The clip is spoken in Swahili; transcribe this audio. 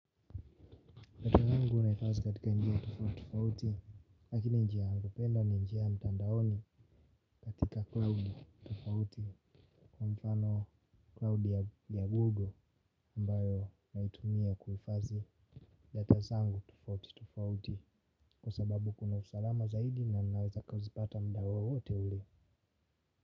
Ile njia napenda ni njia ya mtandaoni katika cloud tofauti. Kwa mfano cloud ya google ambayo naitumia kuhifazi data zangu tofauti tofauti. Kwa sababu kuna usalama zaidi na ninaweza kwa kuzipata muda wowote ule.